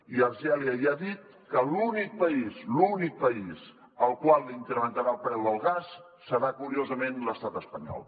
i algèria ja ha dit que l’únic país l’únic país al qual incrementarà el preu del gas serà curiosament l’estat espanyol